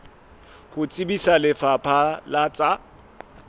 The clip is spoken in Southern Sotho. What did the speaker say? ho tsebisa lefapha la tsa